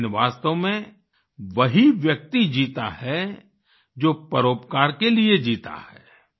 लेकिन वास्तव में वही व्यक्ति जीता है जो परोपकार के लिए जीता है